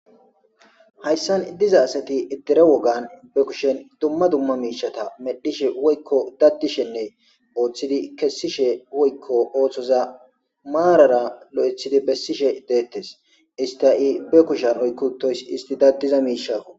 hayssan diza asati ittire wogan be kushen dumma dumma miishata medhishe woykko daddishenne ooththidi kessishe woykko ooththoza maarara lo7ethidi bessishe deettes ista i be kushan oykkutoys isti daddiza miishaKo